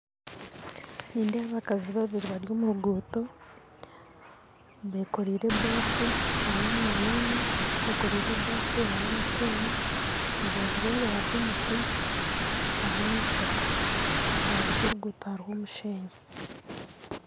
Nindeeba abakazi babiiri bari omu ruguuto bekoreire ebaafu na n'omwaana omwe bekoreire ebaafu harimu omushenyi aharubaju rwabo hariho emiti hariho n'ebishaka aharubaju rw'oruguto hariho omushenyi